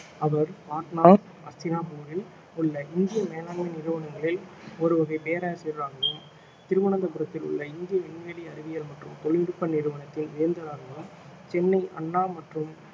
அவர் பாட்னா அஸ்தினாபூரில் உள்ள இந்திய மேலாண்மை நிறுவனங்களில் ஒரு வகை போராசிரியராகவும் திருவனந்தபுரத்தில் உள்ள இந்திய விண்வெளி அறிவியல் மற்றும் தொழில்நுட்ப நிறுவனத்தின் வேந்தராகவும் சென்னை அண்ணா மற்றும்